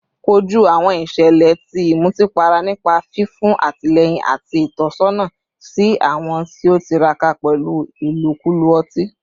Koju awọn iṣẹlẹ ti imutipara nipa fifun atilẹyin ati itọsọna si awọn ti o tiraka pẹlu ilokulo oti